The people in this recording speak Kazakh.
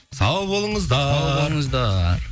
сау болыңыздар сау болыңыздар